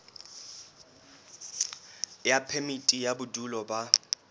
ya phemiti ya bodulo ba